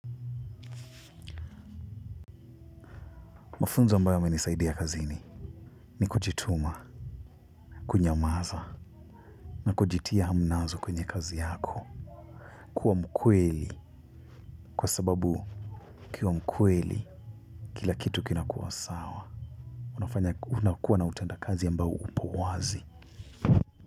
Mafunzo ambayo yamenisaidia kazini ni kujituma, kunyamaza na kujitia hamnazo kwenye kazi yako. Kuwa mkweli kwa sababu ukiwa mkweli kila kitu kinakua sawa. Unafanya unakuwa na utenda kazi ambao upo wazi.